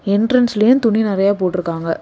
என்ட்ரன்ஸ்லயே துணி நெறைய போட்டு இருக்காங்க.